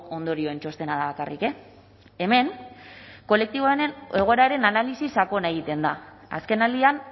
ondorioen txostena da bakarrik hemen kolektiboaren egoeraren analisi sakona egiten da azkenaldian